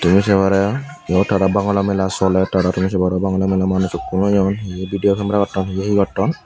tumi saye paror iote bagalor mela solar aro tumi saye paror manus hukun oyone heyea vidio camara goton he ay he goton.